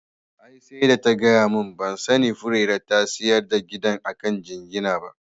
Ai sai da ta gaya mun, ban sani Furera ta sayi gidan ta akan jingina ba